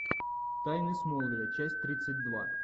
тайны смолвиля часть тридцать два